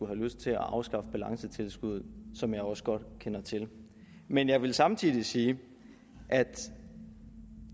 have lyst til at afskaffe balancetilskuddet som jeg også godt kender til men jeg vil samtidig sige at